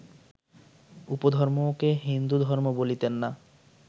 উপধর্মকে হিন্দুধর্ম বলিতেন না